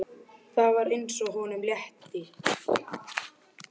Það var eins og honum létti.